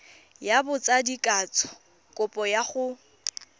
ya botsadikatsho kopo ya go